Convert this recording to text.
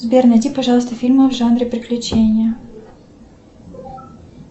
сбер найди пожалуйста фильмы в жанре приключения